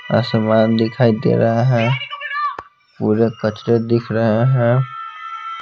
आसमान दिखाई दे रहा है पूरे कचड़े दिख रहे हैं।